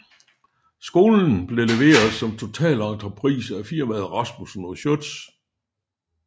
Skolen blev leveret som totalentreprise af firmaet Rasmussen og Schiøtz